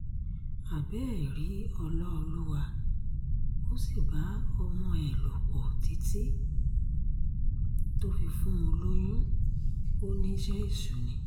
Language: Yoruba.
abẹ́ẹ̀ rí ọlọ́ọ̀lùwà ó sì bá ọmọ ẹ̀ lò pọ̀ títí tó fi fún un lóyún ó níṣẹ́ èṣù ni